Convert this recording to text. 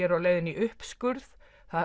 er á leiðinni í uppskurð